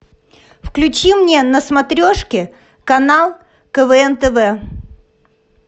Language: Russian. включи мне на смотрешке канал квн тв